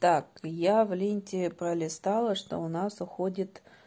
так я в ленте пролистала что у нас уходит